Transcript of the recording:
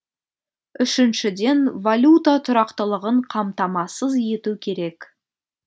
үшіншіден валюта тұрақтылығын қамтамасыз ету керек